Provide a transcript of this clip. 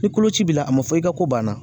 Ni koloci b'i la, a ma fɔ i ka ko banna